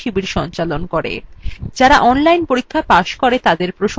যারা online পরীক্ষা pass করে তাদের প্রশংসাপত্র দেয়